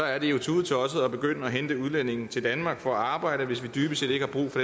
er det jo tudetosset at begynde at hente udlændinge til danmark for at arbejde hvis vi dybest set ikke